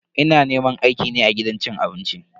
Ina neman aiki ne a gidan cin abinci.